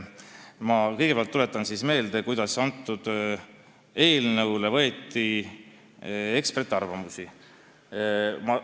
Ma kõigepealt tuletan siis meelde, kuidas selle eelnõu kohta eksperdiarvamusi koguti.